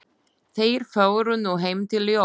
Þeir fóru nú heim til Jóa.